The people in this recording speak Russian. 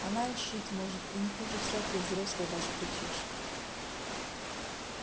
она и шить может и не хуже всякой взрослой вас причешет